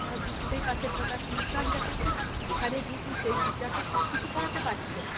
তারা বুঝতেই পারছে না তারা tuition যাচ্ছে ওখানে গিয়ে কি সেই teacher তো সবকিছু পড়াতে পারছে না